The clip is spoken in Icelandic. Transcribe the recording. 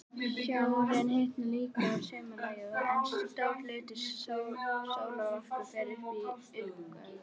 Sjórinn hitnar líka að sumarlagi, en stór hluti sólarorkunnar fer í uppgufun.